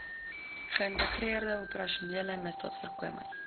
geïntegreerde operasionele misdaadvoorkomings